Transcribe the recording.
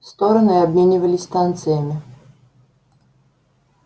стороны обменивались станциями